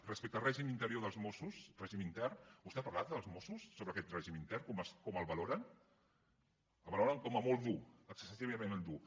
respecte al règim intern dels mossos vostè ha parlat amb els mossos sobre aquest règim intern com el valoren el valoren com a molt dur excessivament dur